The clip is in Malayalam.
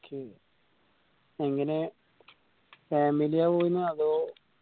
എങ്ങനെയാ family യ പോയിരുന്നെ അതോ